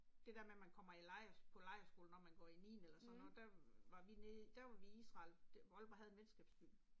Det der med man kommer i lejr på lejrskole når man går i niende eller sådan noget, der var vi nede, der var vi i Israel, Aalborg havde en venskabsby